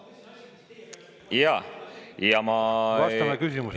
Vastame küsimusele.